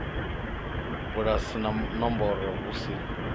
bulasi na nomboro hu si